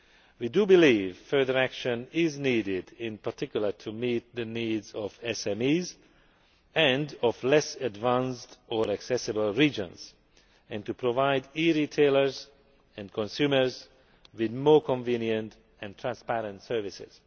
met. We do believe further action is needed, in particular to meet the needs of SMEs and of less advanced or less accessible regions, and to provide e retailers and consumers with more convenient and transparent services.